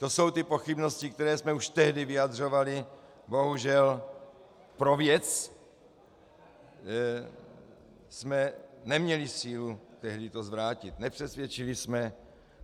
To jsou ty pochybnosti, které jsme už tehdy vyjadřovali, bohužel pro věc jsme neměli sílu tehdy to zvrátit, nepřesvědčili jsme.